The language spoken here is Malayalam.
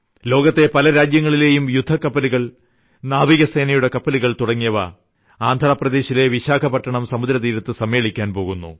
ലോകത്തെ പല രാജ്യങ്ങളിലെയും യുദ്ധക്കപ്പലുകൾ നാവികസേനയുടെ കപ്പലുകൾ തുടങ്ങിയവ ആന്ധ്രാപ്രദേശിലെ വിശാഖപട്ടണം സമുദ്രതീരത്ത് സമ്മേളിയ്ക്കാൻ പോകുന്നു